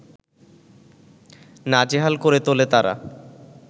নাজেহাল করে তোলে তারা